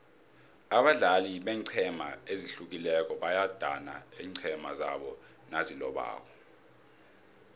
abadlali beenqhema ezihlukileko bayadana iinqhema zabo nazilobako